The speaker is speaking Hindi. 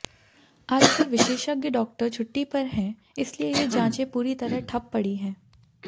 आजकल विशेषज्ञ डॉक्टर छुट्टी पर हैं इसलिए ये जांचें पूरी तरह ठप पड़ी हैं